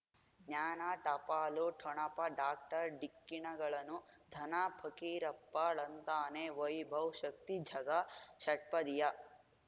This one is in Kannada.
ಜ್ಞಾನ ಟಪಾಲು ಠೊಣಪ ಡಾಕ್ಟರ್ ಢಿಕ್ಕಿ ಣಗಳನು ಧನ ಫಕೀರಪ್ಪ ಳಂತಾನೆ ವೈಭವ್ ಶಕ್ತಿ ಝಗಾ ಷಟ್ಪದಿಯ